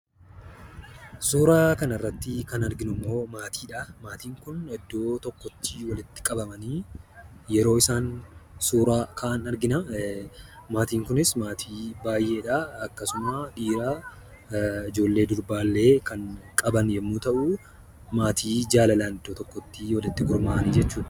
Suuraa kanarratti kan arginu immoo maatii dha. Maatiin kun iddoo tokkotti walitti qabamanii yeroo isaan suuraa ka'an argina. Maatiin kunis maatii baay'ee dha. Akkasuma dhiira, ijoollee durbaallee kan qaban yommuu ta'u, maatii jaalalaan iddoo tokkotti walitti gurmaa'ani jechuudha.